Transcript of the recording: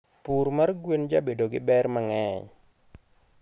Pur mar gwen jabedo gi berr mangeny